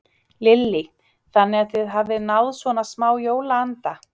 Lillý: Þannig að þið hafið náð svona smá jólaanda?